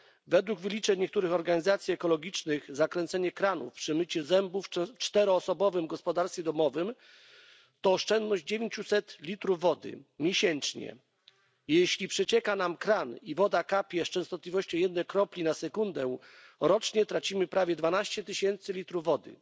Według wyliczeń niektórych organizacji ekologicznych zakręcanie kranu przy myciu zębów w czteroosobowym gospodarstwie domowym to oszczędność 900 litrów wody miesięcznie. Jeśli przecieka nam kran i woda kapie z częstotliwością jednej kropli na sekundę, rocznie tracimy prawie 12 tysięcy litrów wody.